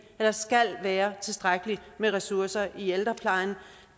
der skal være tilstrækkelig med ressourcer i ældreplejen